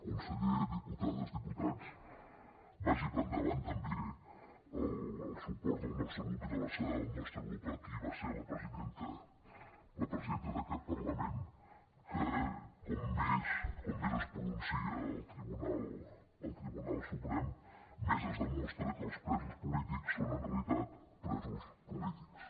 conseller diputades diputats vagi per endavant també el suport del nostre grup i l’abraçada del nostre grup per a qui va ser la presidenta d’aquest parlament que com més es pronuncia el tribunal suprem més es demostra que els presos polítics són en realitat presos polítics